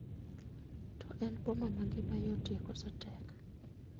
To en boma ma ngima yotie koso tek